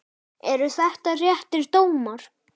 Eru þetta réttir dómar?